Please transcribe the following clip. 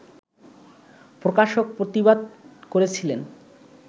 প্রকাশক প্রতিবাদ করেছিলেন